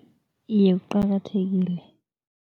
Iye, kuqakathekile.